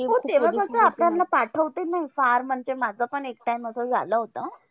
हो तेव्हा कसं आपल्यांना पाठवते नाही फार म्हणजे माझंपण एक time असं झालं होतं.